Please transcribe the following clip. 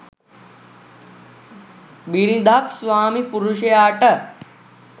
බිරිඳක් ස්වාමිපුරුෂයාට